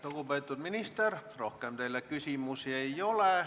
Lugupeetud minister, rohkem teile küsimusi ei ole.